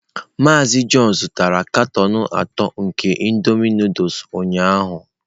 Mazị John zụtara katọn atọ nke indomie Nụdụls ụnyahụ.